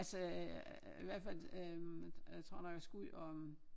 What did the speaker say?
Altså i hvert fald øh jeg tror nok jeg skal ud om